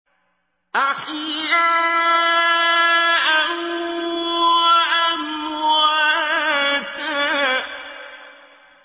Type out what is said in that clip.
أَحْيَاءً وَأَمْوَاتًا